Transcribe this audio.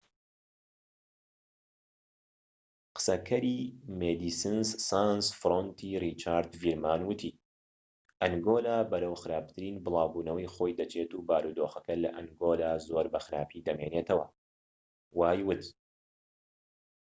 قسەکەری مێدیسنس سانس فرۆنتی ڕیچارد ڤیرمان ووتی ئەنگۆلا بەرەو خراپترین بڵاوبوونەوەی خۆی دەچێت و بارودۆخەکە لە ئەنگۆلا زۆر بە خراپی دەمێنێتەوە وای ووت